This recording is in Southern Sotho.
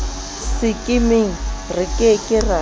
sekemeng re ke ke ra